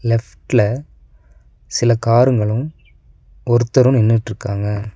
லெஃப்ட்ல சில காருங்களு ஒருத்தரு நின்னுட்ருக்காங்க.